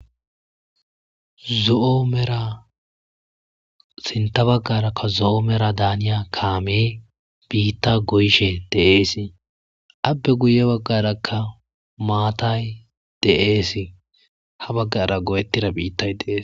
Zo7o mera sintta baggaarakka zo7o meradaaniya kaamee biittaa go7ishee de7eesi; appe guye baggaarakka maatay de7eesi; ha baggaara go7ettira biittay de7ees.